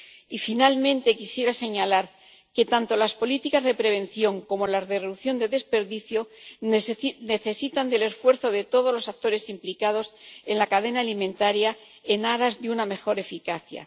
Y, finalmente, quisiera señalar que tanto las políticas de prevención como las de reducción del desperdicio necesitan del esfuerzo de todos los actores implicados en la cadena alimentaria, en aras de una mejor eficacia.